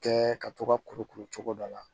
Kɛ ka to ka kurukuru cogo dɔ la